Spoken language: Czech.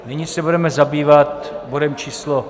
Nyní se budeme zabývat bodem číslo